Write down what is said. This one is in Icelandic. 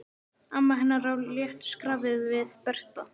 Amma hennar á léttu skrafi við Berta.